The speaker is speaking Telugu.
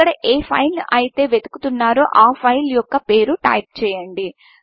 ఇక్కడ ఏ ఫైల్ను అయితే వెతుకుతున్నారో ఆ ఫైల్ యొక్క పేరు టైప్ చేయండి